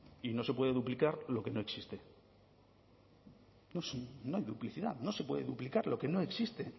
y no se puede duplicar lo que no existe no hay duplicidad no se puede duplicar lo que no existe